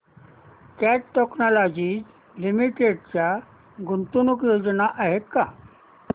cat technologies limited च्या गुंतवणूक योजना आहेत का